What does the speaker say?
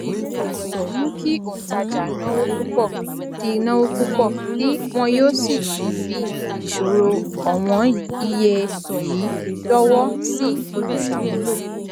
ọrọ yìí mú kí òǹtajà náwó púpọ tí náwó púpọ tí wọn yóò sì tún fi ìṣòro ọwọn iye yìí dọwọ sí olùsàmúlò